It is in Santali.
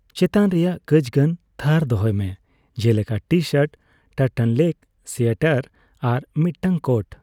ᱪᱮᱛᱟᱱ ᱨᱮᱭᱟᱜ ᱠᱟᱪᱜᱟᱱ ᱛᱷᱟᱨ ᱫᱚᱦᱚᱭ ᱢᱮ, ᱡᱮᱞᱮᱠᱟ ᱴᱤᱼᱥᱟᱨᱴ, ᱴᱟᱨᱴᱱᱚᱞᱮᱠ ᱟᱨ ᱥᱳᱭᱮᱴᱟᱨ ᱟᱨ ᱢᱤᱫᱴᱟᱝ ᱠᱳᱴ ᱾